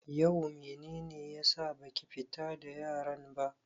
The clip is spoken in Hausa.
Yau mene ne ya sa baki fita da yaran ba?